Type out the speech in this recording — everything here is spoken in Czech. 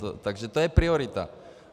Takže to je priorita.